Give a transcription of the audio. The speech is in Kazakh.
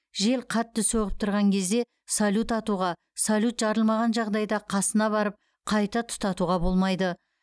жел қатты соғып тұрған кезде салют атуға салют жарылмаған жағдайда қасына барып қайта тұтатуға болмайды